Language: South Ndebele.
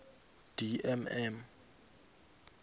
d m m